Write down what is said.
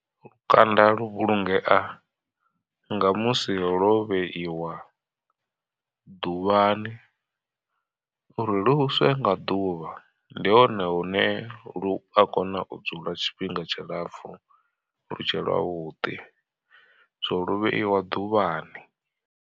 Lukanda lu vhulungea nga musi lwo vheiwa ḓuvhani uri luswe nga ḓuvha, ndi hone hune lu a kona u dzula tshifhinga tshilapfhu lutshe lwavhuḓi so lu vheiwa ḓuvhani.